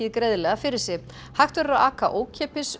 greiðlega fyrir sig hægt verður að aka ókeypis